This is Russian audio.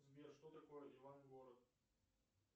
сбер что такое иван город